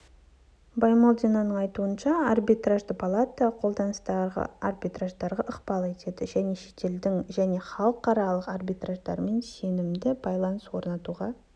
баймолдинаның айтуынша арбитражды палата қолданыстағы арбитраждарға ықпал етеді және шетелдің және халықаралық арбитраждармен сенімді байланыс орнатуға